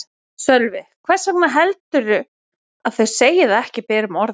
Sölvi: Hvers vegna heldurðu að þau segi það ekki berum orðum?